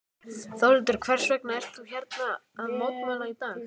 Þórhildur: Hvers vegna ert þú hérna að mótmæla í dag?